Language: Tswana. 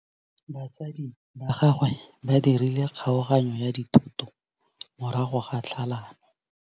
Batsadi ba gagwe ba dirile kgaoganyô ya dithoto morago ga tlhalanô.